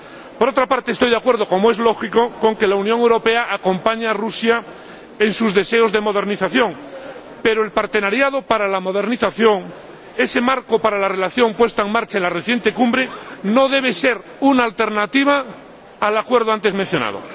Por otra parte, estoy de acuerdo, como es lógico, en que la Unión Europea acompañe y ayude a Rusia en sus deseos de modernización, pero la Asociación para la Modernización, ese marco para la relación puesta en marcha en la reciente Cumbre, no debe ser una alternativa al acuerdo antes mencionado.